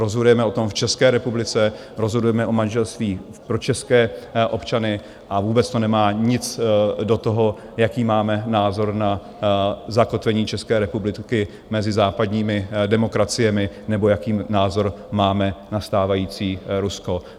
Rozhodujeme o tom v České republice, rozhodujeme o manželství pro české občany a vůbec to nemá nic do toho, jaký máme názor na zakotvení České republiky mezi západními demokraciemi nebo jaký názor máme na stávající Rusko.